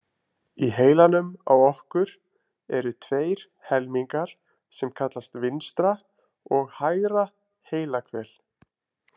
Í heilanum á okkur eru tveir helmingar sem kallast vinstra og hægra heilahvel.